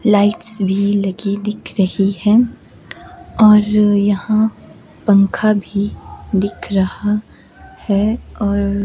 lights भी लगी दिख रही है और यहां पंखा भी दिख रहा है और --